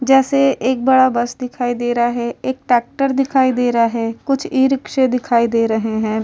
जैसे एक बड़ा बस दिखाई दे रहा है। एक टैक्टर दिखाई दे रहा है। कुछ इ-रिक्शे दिखाई दे रहे हैं।